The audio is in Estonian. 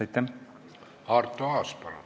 Arto Aas, palun!